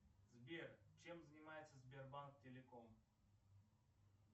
сбер чем занимается сбербанк телеком